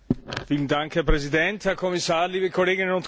Herr Präsident, Herr Kommissar, liebe Kolleginnen und Kollegen!